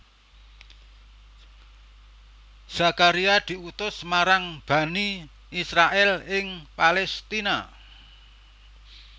Zakaria diutus marang Bani Israil ing Palestina